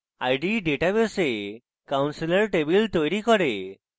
ide ডেটাবেসে counselor table তৈরী করে